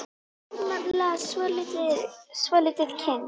Þau hafa nefnilega svo lítið kynnst.